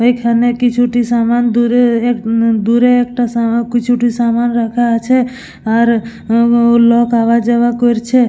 এখানে কিছুটি সমান দূরে হুম দূরে একটা সা কিছুটা সমান রাখা আছে আর হুম লোক আওয়া যাওয়া করছে।